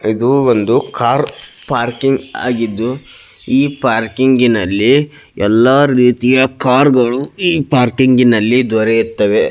ಇದು ಒಂದು car parking ಆಗಿದ್ದು ಈ ಪಾರ್ಕಿಂಗ್ ಅಲ್ಲಿ ಎಲ್ಲ ರೀತಿಯ ಕಾರ್ಗಳು ಈ ಪಾರ್ಕಿಂಗಿನಲ್ಲಿ ದೊರೆಯುತ್ತದೆ --